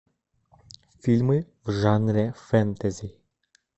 фильмы в жанре фэнтези